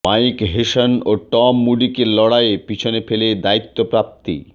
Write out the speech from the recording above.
mic Hesson ও Tom মুডিকে লড়াইয়ে পিছনে ফেলে দায়িত্বপ্রাপ্তি